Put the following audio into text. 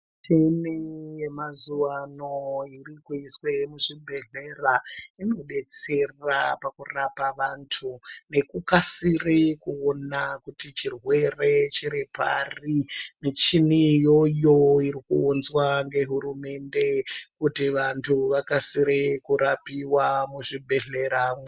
Michini hemazuwa ano iri kuiswe muzvibhedhlera inodetsera pakurapa vantu nekukasire kuona kuti chirwere chiri pari muchini uo iyoyo iri kuunzwa ngehurumende kuti vantu vakasire kurapiwa muzvibhedhleramo.